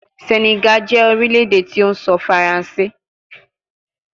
Senegal jẹ orilẹ-ede ti o sọ Faranse